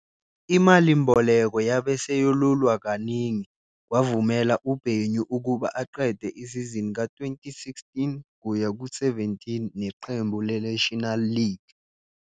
Imalimboleko yabe seyelulwa kaningi, kwavumela uBenyu ukuba aqede isizini ka-2016-17 neqembu leNational League.